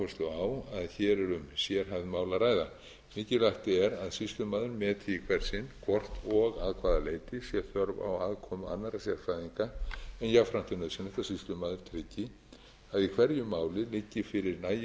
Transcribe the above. að hér er um sérhæfð mál að ræða mikilvægt er að sýslumaður meti í hvert sinn hvort og að hvaða leyti sé þörf á aðkomu annarra sérfræðinga en jafnframt er nauðsynlegt að sýslumaður tryggi að í hverju máli liggi fyrir nægilegar